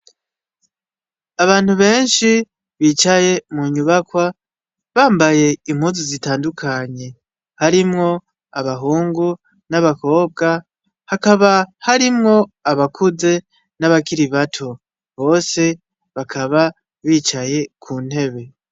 Abantu benshi bicaye mu nyubakwa bambaye impozu zitandukanye harimwo abahungu n'abakobwa hakaba harimwo abakuze n'abakiri bato bose bakaba bicaye ku ntebe.